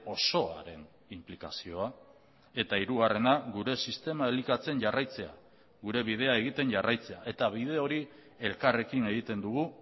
osoaren inplikazioa eta hirugarrena gure sistema elikatzen jarraitzea gure bidea egiten jarraitzea eta bide hori elkarrekin egiten dugu